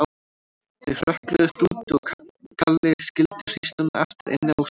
Þau hrökkluðust út og Kalli skildi hrísluna eftir inni á sviðinu.